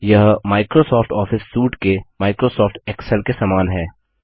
यह Microsoft Office suite के Microsoft Excel के समान है